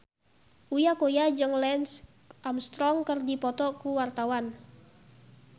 Uya Kuya jeung Lance Armstrong keur dipoto ku wartawan